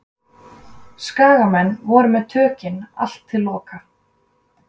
Skagamenn voru með tökin allt til loka.